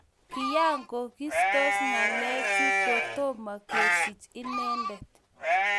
Kiyayagistos ngalechoto kotomo kesich inendet